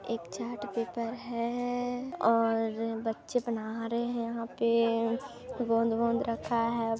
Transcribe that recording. एक chart paper है....और बच्चे बना रहे है यहाँ पे गोंद वोंद रखा है।